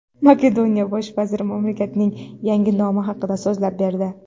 Makedoniya bosh vaziri mamlakatning yangi nomi haqida so‘zlab berdi.